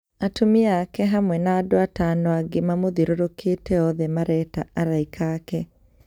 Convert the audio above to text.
Atumia ake hamwe na andũ atano angĩ mamũthirũrũkĩte othe mareĩta alaika ake